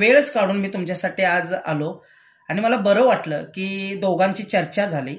वेळच काढून मी तुमच्यासाठी मी आज आलो.आणि मला बरं वाटलं कि दोघांची चर्चा झाली